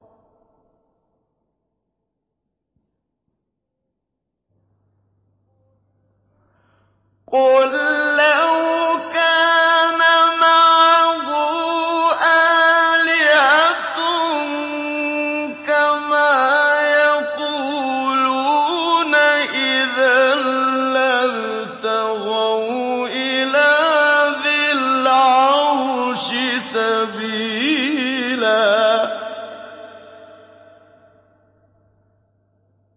قُل لَّوْ كَانَ مَعَهُ آلِهَةٌ كَمَا يَقُولُونَ إِذًا لَّابْتَغَوْا إِلَىٰ ذِي الْعَرْشِ سَبِيلًا